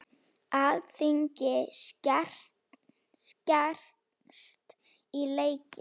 Alþingi skerst í leikinn